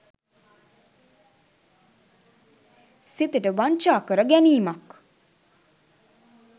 සිතට වංචා කර ගැනීමක්.